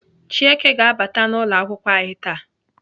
Chieke ga-abata n'ụlọakwụkwọ anyị taa.